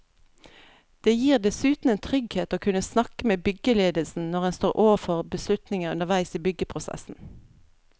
Det gir dessuten en trygghet å kunne snakke med byggeledelsen når en står overfor beslutninger underveis i byggeprosessen.